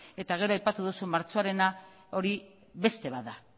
gero aipatu duzu martxoarena hori beste bat da